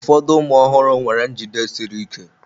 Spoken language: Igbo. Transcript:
Ụfọdụ ụmụ ọhụrụ nwere njide siri ike.